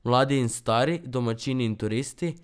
Mladi in stari, domačini in turisti.